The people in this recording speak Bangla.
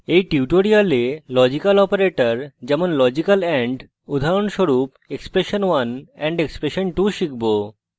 in tutorial লজিক্যাল operators যেমন লজিক্যাল and উদাহরণস্বরূপ expression1 && expression2 শিখব